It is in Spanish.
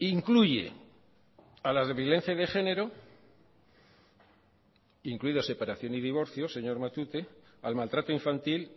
incluye a las de violencia de género incluido separación y divorcio señor matute al maltrato infantil